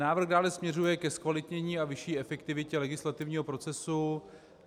Návrh dále směřuje ke zkvalitnění a vyšší efektivitě legislativního procesu.